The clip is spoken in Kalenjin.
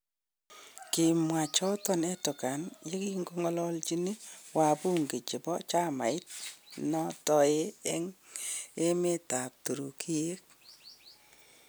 Kimwa choton Erdogan yekigongolochin wabunge chebo chamait nedoe en emet ab Turikiek.